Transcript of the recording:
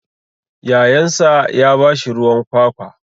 Yayansa ya ba shi ruwan kwakwa.